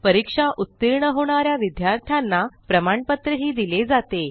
परीक्षा उतीर्ण होणा या विद्यार्थ्यांना प्रमाणपत्रही दिले जाते